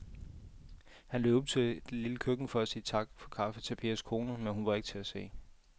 Han løb ud i det lille køkken for at sige tak for kaffe til Pers kone, men hun var ikke til at se.